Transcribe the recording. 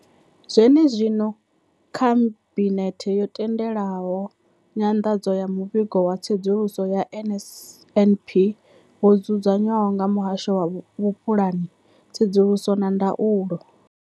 Zwene zwino, Khabinethe yo tendela nyanḓadzo ya Muvhigo wa Tsedzuluso ya NSNP wo dzudzanywaho nga Muhasho wa Vhupulani, Tsedzuluso na Ndaulo.